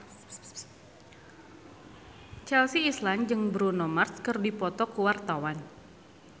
Chelsea Islan jeung Bruno Mars keur dipoto ku wartawan